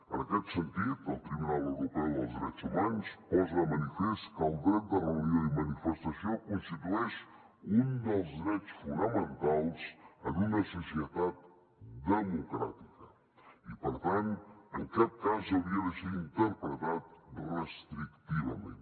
en aquest sentit el tribunal europeu dels drets humans posa de manifest que el dret de reunió i manifestació constitueix un dels drets fonamentals en una societat democràtica i per tant en cap cas hauria de ser interpretat restrictivament